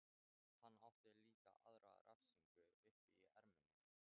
Hann átti líka aðra refsingu uppi í erminni.